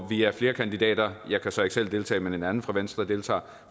vi er flere kandidater jeg kan så ikke selv deltage men en anden fra venstre deltager